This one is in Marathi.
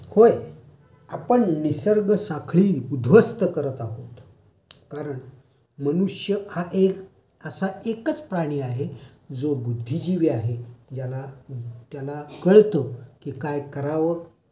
होय आपण निसर्ग साखळी उध्वस्त करत आहोत. कारण मनुष्य हा एक असा एकाच प्राणी आहे जो बूद्धिजीवी आहे,. त्याला कळतं की काय करावं